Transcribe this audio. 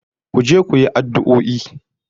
Ku je ku yi addu'o'i